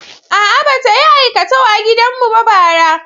A'a, ba ta yi aikatau a gidan mu ba bara.